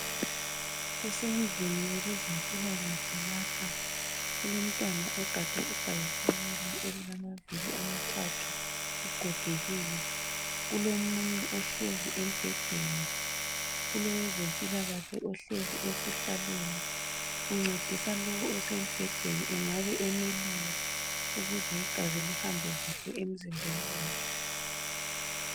kusendlini yabezempilakahle lapha kulomntwana ogade ibhayisikili elilamavili amathathu ugogekile kulomunye ohlezi embedeni kulowezempilakhle ohlezi esihlalweni uncedisa lowu osembhedeni engabe emelula ukuze igazi lihambe kahle emzimbeni wakhe